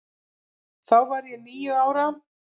Þá var ég níu ára.